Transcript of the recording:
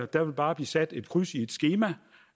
der vil bare blive sat kryds i et skema